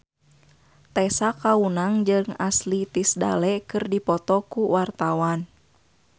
Tessa Kaunang jeung Ashley Tisdale keur dipoto ku wartawan